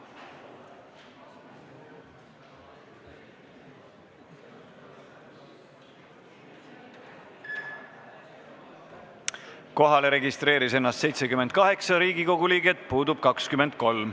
Kohaloleku kontroll Kohalolijaks registreeris ennast 78 Riigikogu liiget, puudub 23.